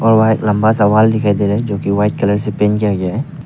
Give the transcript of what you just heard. और वहां एक लंबा सा वाल दिखाई दे रहा है जो कि व्हाइट कलर से पेंट किया गया है।